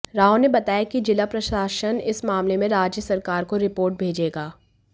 राव ने बताया कि जिला प्रशासन इस मामले में राज्य सरकार को रिपोर्ट भेजेगा